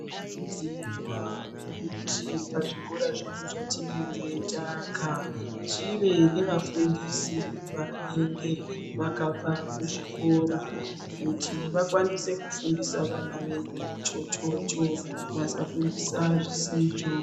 Tinokurudzirwa kuti pazvikora zvedu zvatinenge taaka, zvive nevafundisi vanenge vakabva kuzvikora, kuti vakwanise kufundisa vana vedu chochocho, vasafundisa zvisizvo.